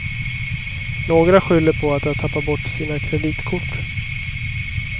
Några skyller på att de har tappat bort sina kreditkort.